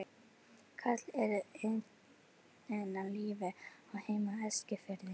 Karl er enn á lífi og á heima á Eskifirði.